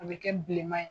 A bɛ kɛ bilenma ye